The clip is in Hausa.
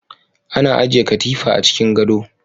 ana ajiye katifa a cikin gado